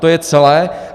To je celé.